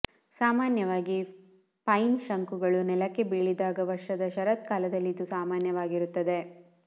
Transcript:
ಸಾಮಾನ್ಯವಾಗಿ ಪೈನ್ ಶಂಕುಗಳು ನೆಲಕ್ಕೆ ಬೀಳಿದಾಗ ವರ್ಷದ ಶರತ್ಕಾಲದಲ್ಲಿ ಇದು ಸಾಮಾನ್ಯವಾಗಿರುತ್ತದೆ